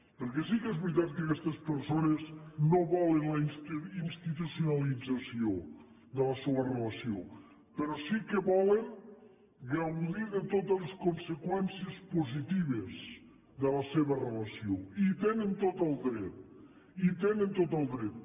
perquè sí que és veritat que aquestes persones no volen la institucionalització de la seua relació però sí que volen gaudir de totes les conseqüències positives de la seva relació i hi tenen tot el dret i hi tenen tot el dret